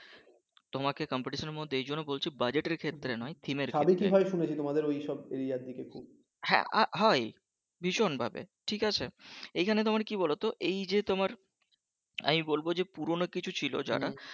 তোমাকে competition এর মধ্যে এইজন্য বলছি budget এর ক্ষেত্রে না theme এর ক্ষেত্রে হ্যাঁ হ্যাঁ হয়ই ভীষণ ভাবে ঠিক আছে এইখানে তোমার কী বলোতো এইযে আমি বলবো যে পুরনো কিছু ছিল যারা